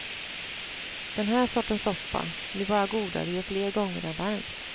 Den här sortens soppa blir bara godare ju fler gånger den värms.